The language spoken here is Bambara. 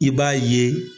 I b'a ye